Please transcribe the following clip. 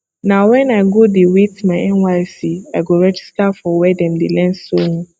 na wen i go dey wait my nysc i go register for were dem dey learn sewing